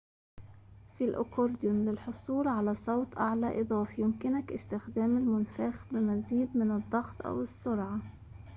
في الأكورديون للحصول على صوت أعلى إضافي يمكنك استخدام المنفاخ بمزيد من الضغط أو السرعة